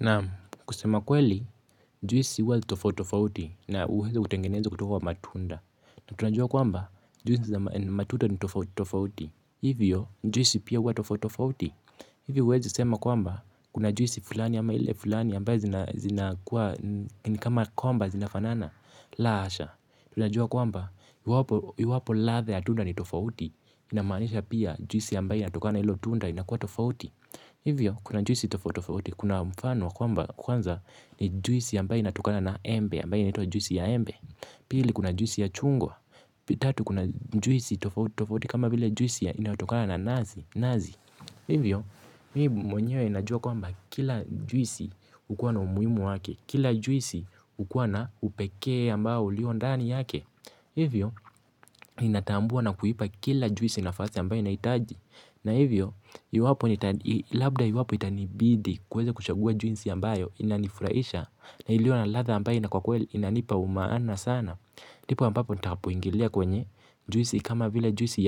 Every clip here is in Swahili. Naam kusema kweli juisi huwa tofautofauti na huweza kutengenezo kutoka wa matunda. Na tunajua kwamba juisi za matunda ni tofauti. Hivyo juisi pia huwa tofautofauti. Hivyo uwezo sema kwamba kuna juisi fulani ama ile fulani ambaye zina kuwa ni kama kwamba zina fanana. La asha. Tunajua kwamba yu iwapo ladha ya tunda ni tofauti. Inamanisha pia juisi ambaye linalotokana ilo tunda inakuwa tofauti. Hivyo, kuna juisi tofauti tofauti, kuna mfano kwamba kwanza ni juisi ambaye natukala na embe, ambaye natukala na juisi ya embe, pili kuna juisi ya chungwa, tatu kuna juisi tofautofauti kama vile juisi inayotokana na nazi, hivyo, mimi mwenyeo najua kwamba kila juisi hukuwa na umuimu wake, kila juisi huwa na upekee ambao lio ndani yake, hivyo, ninatambua na kuipa kila juisi nafasi ambayo inahitaji. Na hivyo, labda iwapo itanibidi kuweza kuchagua juisi ambayo inanifuraisha na ilio na ladha ambayo inanipa umaana sana. Ndipo ambapo nitakapoingilia kwenye juisi kama vile juisi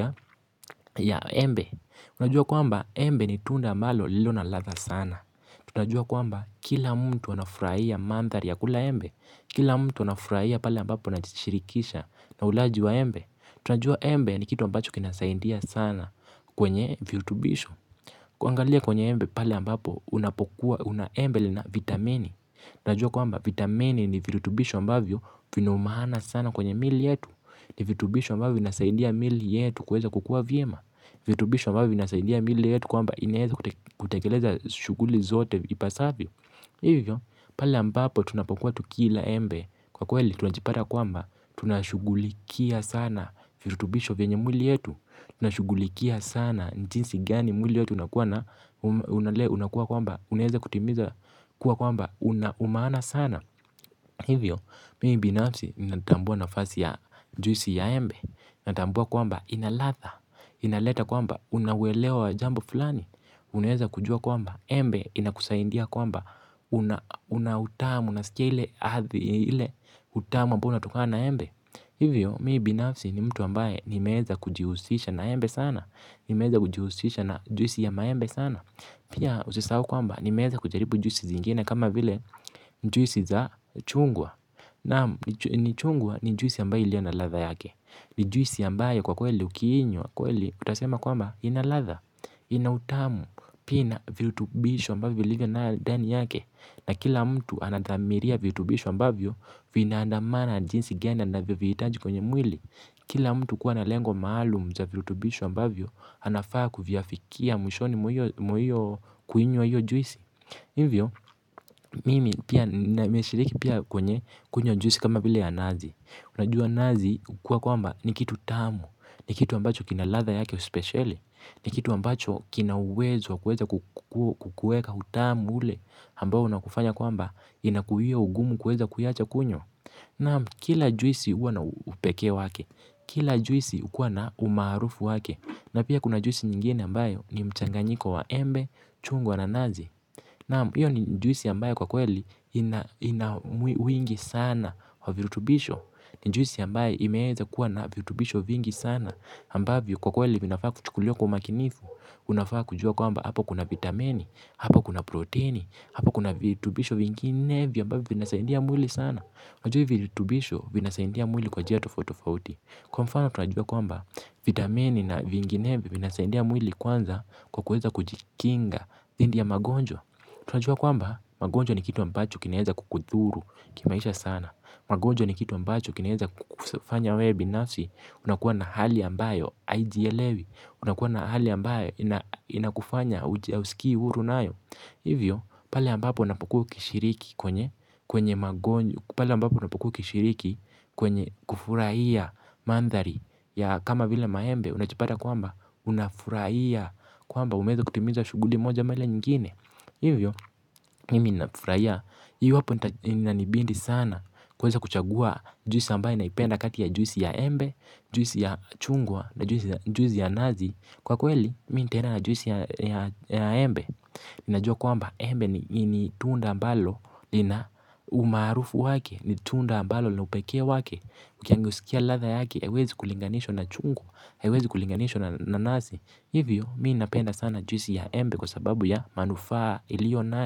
ya embe. Unajua kwamba embe ni tunda ambalo ilio na ladha sana. Unajua kwamba kila mtu anafurahia mandhari ya kula embe. Kila mtu anafuraia pale ambapo anajishirikisha na ulaji wa embe. Tunajua embe ni kitu ambacho kinasaindia sana kwenye viutubisho. Kuangalia kwenye embe palebambapo unapokuwa una embe lenye vitamini. Tunajua kwamba vitamini ni vitubisho ambavyo vina umaana sana kwenye miili yetu. Ni vitubisho ambavyo vinasaindia miili yetu kuweza kukua vyema. Vitubisho ambavyo vinasaindia miili yetu kwamba inaweza kutekeleza shughuli zote ipasavyo. Hivo, pale ambapo tunapokuwa tukila embe. Kwa kweli, tunajipata kwamba, tunashugulikia sana virutubisho venye mwili yetu. Tunashugulikia sana ni jinsi gani mwili yetu inakuwa na unakuwa kwamba, unaweza kutimiza. Kuwa kwamba, una umaana sana. Hivyo, mimi binafsi, natambua nafasi ya juisi ya embe. Natambua kwamba, ina ladha, inaleta kwamba una uelewa wa jambo fulani, uneweza kujua kwamba embe, inakusaidia kwamba una utamu, nasikia ile hathi ile utamu ambao unatokana na embe, hivyo mimi binafsi ni mtu ambaye nimeeza kujihusisha na embe sana nimeweza kujihusisha na juisi ya maembe sana pia usisau kwamba ni nimeweza kujaripu juisi zingine kama vile juisi za chungwa na ni chungwa ni juisi ambaye iliyo na ladha yake ni juisi ambayo kwa kweli ukiinywa kweli utasema kwamba ina ladha ina utamu pia ina virutubishu ambayo vilivyo na dani yake. Na kila mtu anadhmiria viutubishu ambavyo vinaandamana jinsi gani anavyo viitaji kwenye mwili. Kila mtu kuwa na lengo maalum za viutubishu ambavyo anafaa kuvyafiafikia mwishoni mwa kuinywa hiyo juisi. Hivyo, mimi pia nimeshiriki pia kwenye kunywa juisi kama vile ya nazi. Unajua nazi kwa kwamba ni kitu tamu. Ni kitu ambacho kina ladha yake speshele. Ni kitu ambacho kina uwezo wa kuweza kukuweka utamu ule ambao unakufanya kwamba inakuhia ugumu kuweza kuiacha kunywa. Naamu, kila juisi huwa na upekee wake. Kila juisi huwa na umaarufu wake. Na pia kuna juisi nyingine ambayo ni mchanganyiko wa embe, chungwa na nazi. Naam, iyo ni juisi ambayo kwa kweli ina wingi sana wa virutubisho. Ni juisi ambayo imeweza kuwa na virutubisho vingi sana ambavyo kwa kweli vinafaa kuchukuliwa kwa umakinifu unafaa kujua kwamba hapo kuna vitamini, hapo kuna proteini, hapo kuna vitubisho vingine ambavyo vinasaidia mwili sana. Najui vitubisho vina saindia mwili kwa njia tofauti tofauti. Kwa mfano tunajua kwamba vitamini na vinginevyo vinasaidia mwili kwanza kwa kuweza kujikinga dhidhi ya magonjwa. Tunajua kwamba magonjwa ni kitu ambacho kinaweza kukudhuru kimaisha sana. Magonjwa ni kitu ambacho kinaweza kukufanya we binafsi. Unakuwa na hali ambayo hujielewi. Unakuwa na hali ambayo inakufanya hausikii huru nayo. Hivyo, pale ambapo unapokuwa ukishiriki kwenye kufurahia mandhari ya kama vila maembe, unajipata kwamba unafurahia. Kwamba umeweza kutimiza shuguli moja mara nyingine. Hivyo, mimi ninafurahia. Hiyo hapo inananibidi sana. Kuweza kuchagua juisi ambayo naipenda kati ya juisi ya embe juisi ya chungwa na juisi ya nazi. Kwa kweli, mimi nitaeda na juisi ya embe. Ninajua kwamba, embe ni tunda ambalo lina umaarufu wake, ni tunda ambalo lina upekee wake. Mkiskia ladha yake, haiwezi kulinganishwa na chungwa. Haiwezi kulinganishwa na nazi. Hivyo, mimi napenda sana juisi ya embe. Kwa sababu ya manufaa ilio nayo.